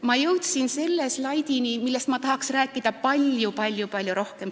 Ma jõudsin selle teemani, millest ma tahaksin rääkida palju-palju-palju rohkem.